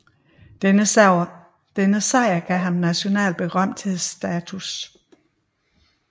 Denne sejr gav ham national berømthedsstatus